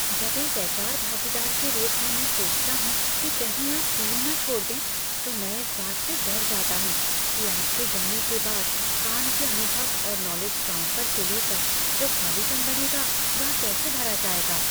जब एक एच.आर. भागीदार के रूप में मैं सोचता हूँ कि कहीं आप टीम न छोड़ दें, तो मैं इस बात से डर जाता हूँ कि आपके जाने के बाद काम के अनुभव और नॉलेज ट्रांसफर को लेकर जो खालीपन बनेगा वह कैसे भरा जाएगा।